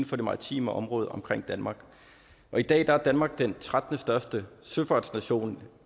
for det maritime område omkring danmark i dag er danmark den trettende største søfartsnation